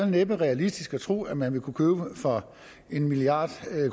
næppe realistisk at tro at man vil kunne købe for en milliard